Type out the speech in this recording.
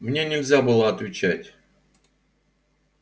мне нельзя было отвечать